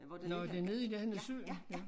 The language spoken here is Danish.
Nåh det nede i nærheden af søen